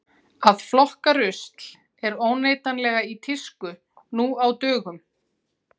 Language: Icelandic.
að flokka rusl er óneitanlega í tísku nú á dögum